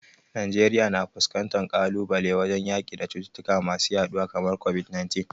Najeriya na fuskantar kalubale wajen yaki da cututtuka masu yaduwa kamar COVID-19.